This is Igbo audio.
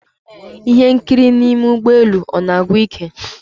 Ihe nkiri n'ime ụgbọ elu ọ na-agwụ ike?